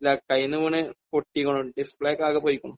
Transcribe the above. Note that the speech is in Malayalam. ഇല്ല കയ്യിൽ നിന്ന് വീണു പൊട്ടിയേക്കണൂ. ഡിസ്പ്ലേ ഒക്കെ ആകെ പോയിരിക്കണൂ.